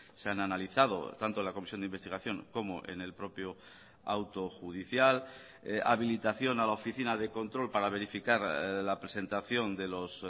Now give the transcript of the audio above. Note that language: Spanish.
se han analizado tanto en la comisión de investigación como en el propio auto judicial habilitación a la oficina de control para verificar la presentación de los